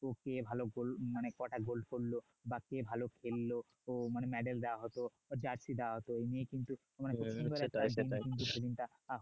তো কে ভালো গোল মানে কটা গোল করল বা কে ভালো খেললো তো মানে মেডেল দেওয়া হতো জার্সিটা হত এমনিই কিন্তু